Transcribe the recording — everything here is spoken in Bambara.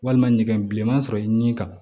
Walima ɲɛgɛn bilenman sɔrɔ i ni ka